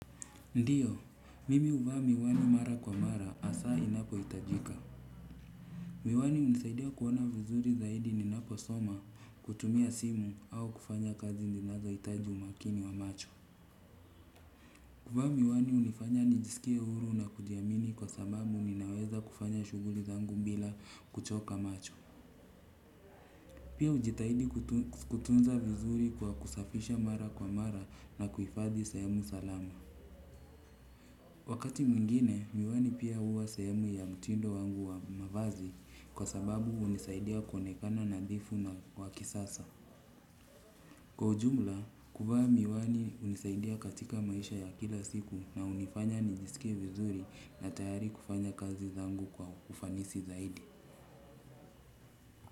Ndiyo, mimi uvaa miwani mara kwa mara asaa inapo itajika. Miwani unisaidia kuona vizuri zaidi ninapo soma kutumia simu au kufanya kazi ninazo itaji umakini wa macho. Kuvaa miwani hunifanya nijiskie huru na kujiamini kwa sababu ninaweza kufanya shugli zangu bila kuchoka macho. Pia ujitahidi kutunza vizuri kwa kusafisha mara kwa mara na kuifadhi sehemu salama. Wakati mwingine miwani pia huwa sehemu ya mtindo wangu wa mavazi kwa sababu hunisaidia kuonekana nadhifu wa kisasa. Ndiyo, mimi uvaa miwani mara kwa mara asaa inapo itajika.